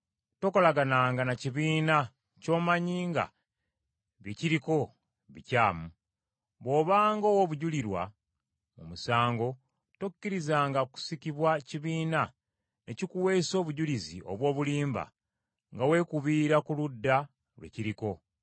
“Tokolagananga na kibiina ky’omanyi nga bye kiriko bikyamu. Bw’obanga owa obujulirwa mu musango, tokkirizanga kusikibwa kibiina ne kikuweesa obujulizi obw’obulimba nga weekubira ku ludda lwe kiriko;